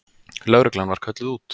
Lögreglan var kölluð út.